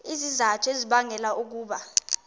izizathu ezibangela ukuba